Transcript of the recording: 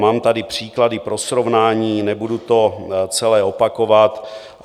Mám tady příklady pro srovnání, nebudu to celé opakovat.